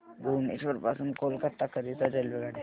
भुवनेश्वर पासून कोलकाता करीता रेल्वेगाड्या